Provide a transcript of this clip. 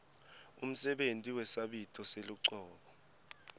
umsebenti wesabito selucobo